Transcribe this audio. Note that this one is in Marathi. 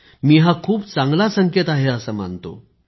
मी हा खूप चांगला संकेत आहे असे मानतो